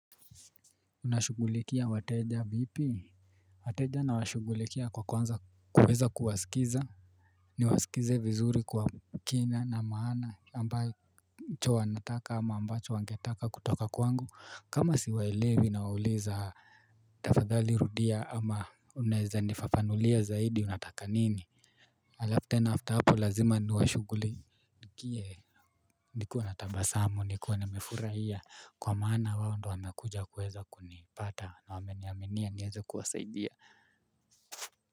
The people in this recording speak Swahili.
Unashughulikia wateja vipi. Wateja nawashughulikia kwa kuanza kuweza kuwasikiza. Niwasikize vizuri kwa kina na maana ambacho wanataka ama ambacho wangetaka kutoka kwangu kama siwaelewi nawauliza. Tafadhali rudia ama unaeza nifafanulia zaidi unataka nini. Alafu tena after hapo lazima niwashughulikie. Ndiko natabasamu, nikiwa nimefurahia kwa maana wao ndio wamekuja kuweza kunipata na wameniaminia niweze kuwasaidia.